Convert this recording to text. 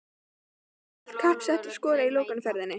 Verður allt kapp sett á að skora í lokaumferðinni?